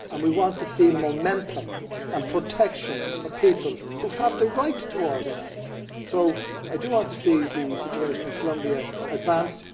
we want to see momentum, and protection for people who have the right to organise. So I want to see the situation in Colombia advanced